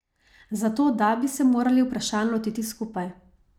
Zato da bi se morali vprašanj lotiti skupaj.